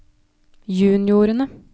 juniorene